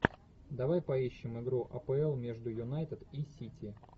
давай поищем игру апл между юнайтед и сити